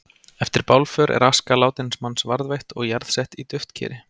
Eftir bálför er aska látins manns varðveitt og jarðsett í duftkeri.